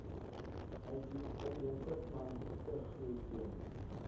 uitheemse plantegroei teen